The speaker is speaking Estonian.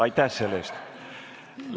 Aitäh selle eest!